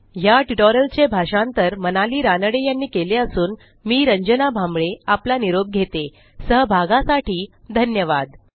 या ट्युटोरियलचे भाषांतर मनाली रानडे यांनी केले असून मी रंजना भांबळे आपला निरोप घेतेसहभागासाठी धन्यवाद